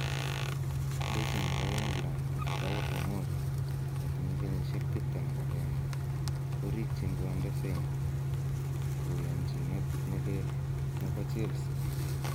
Beki nebo England Fikayo Tomori,21, korikyin konde sein koyonchinet ne lel nebo Chelsea